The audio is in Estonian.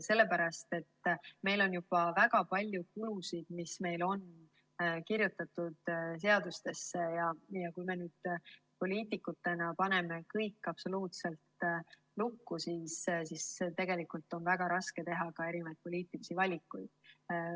Sellepärast, et meil on juba väga palju kulusid kirjutatud seadustesse, ja kui me poliitikutena paneme kõik absoluutselt lukku, siis on väga raske teha ka erinevaid poliitilisi valikuid.